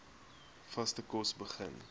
vaste kos begin